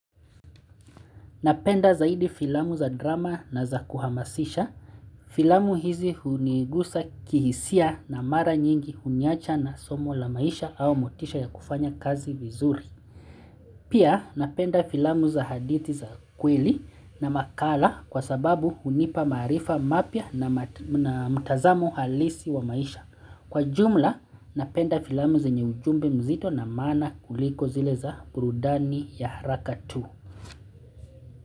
Napenda zaidi filamu za drama na za kuhamasisha. Filamu hizi hunigusa kihisia na mara nyingi huniacha na somo la maisha au motisha ya kufanya kazi vizuri. Pia napenda filamu za hadithi za kweli na makala kwa sababu hunipa maarifa mapya na mata mtazamo halisi wa maisha. Kwa jumla napenda filamu zenye ujumbe mzito na maana kuliko zile za burudani ya haraka tu.